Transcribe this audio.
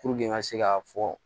Puruke n ka se k'a fɔ